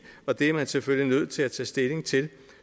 og det er man selvfølgelig nødt til at tage stilling til